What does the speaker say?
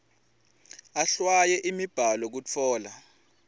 ahlwaye imibhalo kutfola